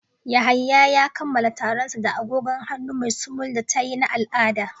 Yahaya ya kammala taron sa da agogon hannu mai sumul da taye na al'ada.